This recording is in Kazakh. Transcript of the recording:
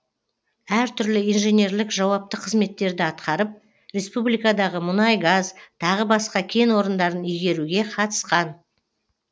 әр түрлі инженерлік жауапты қызметтерді атқарып республикадағы мұнай газ тағы басқа кен орындарын игеруге қатысқан